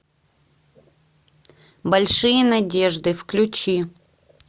большие надежды включи